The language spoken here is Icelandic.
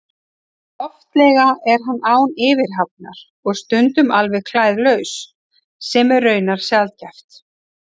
Oftlega er hann án yfirhafnar og stundum alveg klæðlaus, sem er raunar sjaldgæft.